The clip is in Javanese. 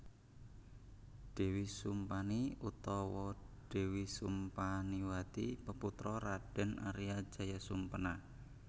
Dèwi Sumpani utawa Dèwi Sumpaniwati peputra Raden Arya Jayasumpena